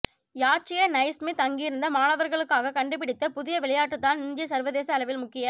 யாற்றிய Naismith அங்கிருந்த மாணவர்களுக்காக கண்டுபிடித்த புதிய விளையாட்டுதான் இன்று சர்வதேச அளவில் முக்கிய